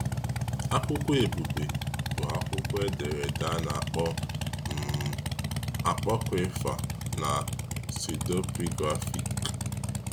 Akwụkwọ Ebube bụ akwụkwọ edere ede a na-akpọ um apọkrifa na pseudepigraphic.